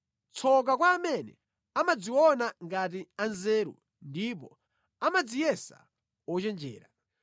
Tsoka kwa amene amadziona ngati anzeru ndipo amadziyesa ochenjera.